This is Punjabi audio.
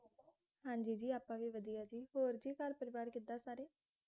ਹਾਂ ਜੀ ਜੀ ਵਧੀਆ ਜੀ ਹੋਰ ਜੀ ਘਰ ਪਰਿਵਾਰ ਕਿੱਦਾਂ ਸਾਰੇ